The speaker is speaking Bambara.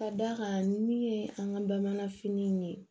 Ka d'a kan min ye an ka bamananfini ye